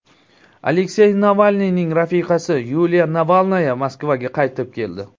Aleksey Navalniyning rafiqasi Yuliya Navalnaya Moskvaga qaytib keldi.